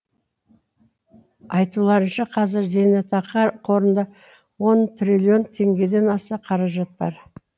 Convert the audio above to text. айтуларынша қазір зейнетақы қорында он триллион теңгеден аса қаражат бар